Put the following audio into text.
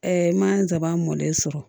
n ma nsaban mɔlen sɔrɔ